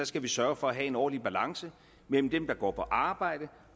skal vi sørge for at have en ordentlig balance mellem dem der går på arbejde